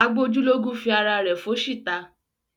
Agbójúlógún fi ara rẹ̀ fóṣì ta.